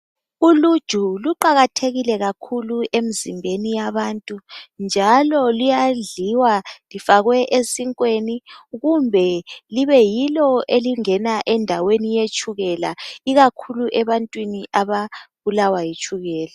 Uluju kuqakathekile kakhulu emzimbeni yabantu njalo luyadliwa lifakwe esinkweni kumbe yilo elingena endaweni ekakhulu ebantwini ababulawa yitshukela.